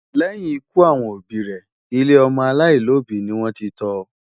Lẹ́yìn ikú àwọn òbí rẹ̀, ilé ọmọ aláìlóbìí ni wọ́n ti tọ́ ọ.